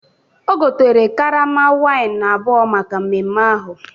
O gotere karama waịn abụọ maka mmemme ahụ.